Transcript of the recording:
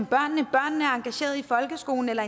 børnene engageret i folkeskolen eller